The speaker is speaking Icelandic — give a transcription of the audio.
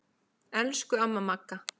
Elsku amma Magga.